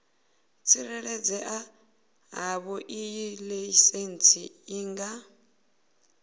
tsireledzea havhoiyi laisentsi i nga